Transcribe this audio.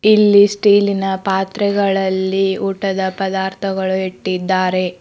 ಇಲ್ಲಿ ಸ್ಟೀಲಿನ ಪಾತ್ರೆಗಳಲ್ಲಿ ಊಟದ ಪದಾರ್ಥಗಳು ಇಟ್ಟಿದ್ದಾರೆ.